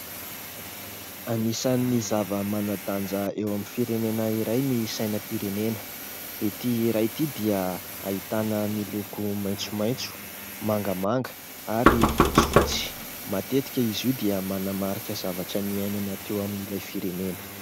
Anisan'ny zava-manandanja eo amin'ny firenena iray ny sainam-pirenena. Ity iray ity dia ahitana ny loko maitsomaitso, mangamanga ary fotsifotsy. Matetika izy io dia manamarika zavatra niainana teo amin'ilay firenena.